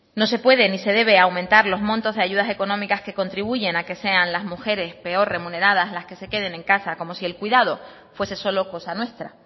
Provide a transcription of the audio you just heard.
no se puede ni se debe aumentar los montos de ayudas económicas que contribuyen a que sean las mujeres peor remuneradas las que se queden en casa como si el cuidado fuese solo cosa nuestra